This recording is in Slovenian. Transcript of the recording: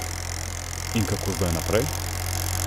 In kako zdaj naprej?